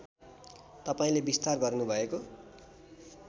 तपाईँले विस्तार गर्नुभएको